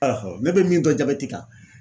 ne bɛ min dɔn kan